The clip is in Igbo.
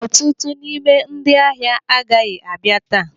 Ọtụtụ n'ime ndị ahịa agaghị abịa taa.